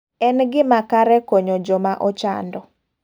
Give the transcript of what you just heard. En gima kare konya joma ochando.